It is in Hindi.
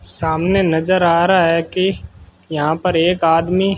सामने नजर आ रहा है कि यहां पर एक आदमी--